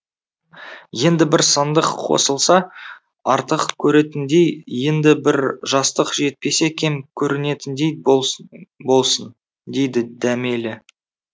енді бір сандық қосылса артық көретіндей енді бір жастық жетпесе кем көрінетіндей болсын болсын дейді дәмелі